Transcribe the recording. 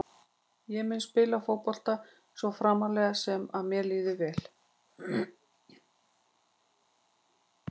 Ég mun spila fótbolta svo framarlega sem að mér líður vel.